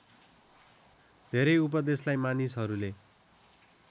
धेरै उपदेशलाई मानिसहरूले